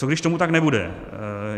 Co když tomu tak nebude?